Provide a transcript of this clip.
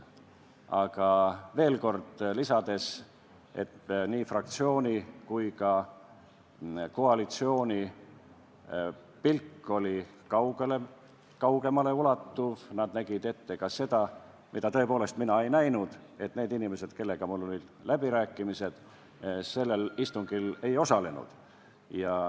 Aga veel kord, nii fraktsiooni kui ka koalitsiooni pilk oli kaugemale ulatuv, nad nägid ette ka seda, mida mina tõepoolest ette ei näinud, et need inimesed, kellega mul olid olnud läbirääkimised, sellel istungil ei osale.